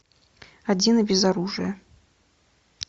один и без оружия